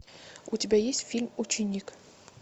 у тебя есть фильм ученик